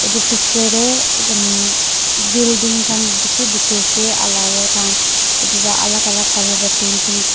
etu picture teh umm building khan bishi dekhi ase ar aru tai han etu alag alag colour pra painting --